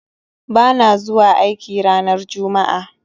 Bana zuwa aiki ranar Juma'a